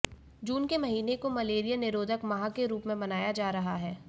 जून के महीने को मलेरिया निरोधक माह के रूप में मनाया जा रहा है